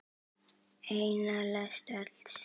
Eina lest öls.